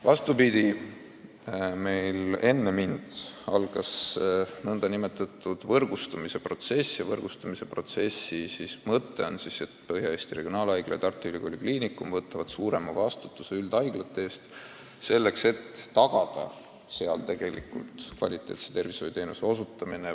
Vastupidi, enne mind algas nn võrgustumise protsess ja selle mõte on, et Põhja-Eesti Regionaalhaigla ja Tartu Ülikooli Kliinikum võtavad suurema vastutuse üldhaiglate eest, et tagada nendes kvaliteetsete tervishoiuteenuste osutamine.